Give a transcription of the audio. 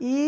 E